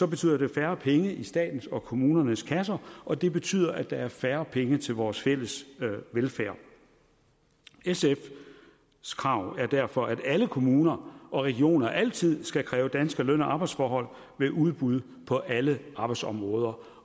betyder det færre penge i statens og kommunernes kasser og det betyder igen at der er færre penge til vores fælles velfærd sfs krav er derfor at alle kommuner og regioner altid skal kræve danske løn og arbejdsforhold ved udbud på alle arbejdsområder